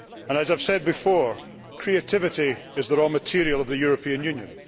As I have said before, creativity is the raw material of the European Union.